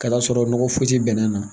K'a d'a sɔrɔ nɔgɔ foyi ti bɛnɛ na